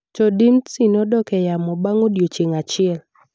To Dimtsi nodok e yamo bang’ odiechieng’ achiel.